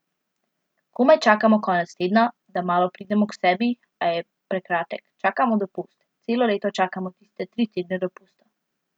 Komaj čakamo konec tedna, da malo pridemo k sebi, a je prekratek, čakamo dopust, celo leto čakamo tiste tri tedne dopusta.